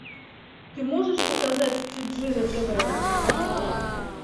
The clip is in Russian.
ты можешь показать тиджи на тв